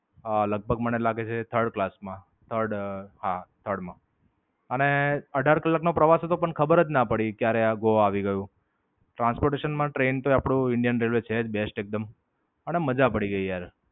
હા, લગભગ મને લાગે છે Third class માં. the third હા, the third માં. અને અઢાર કલાક નો પ્રવાસ હતો પણ ખબર જ ના પડી ક્યારે આ ગોવા આવી ગયું. Transportation માં ટ્રેન તે આપણું ઇન્ડિયન રેલવે છે જ બેસ્ટ એકદમ. અને મજા પડી ગઈ યાર.